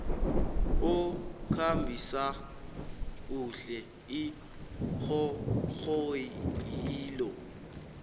okhambisa kuhle iinghonghoyilo